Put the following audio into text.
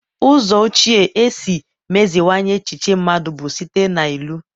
Ụzọ ochie isi meziwanye echiche mmadụ bụ site na ilu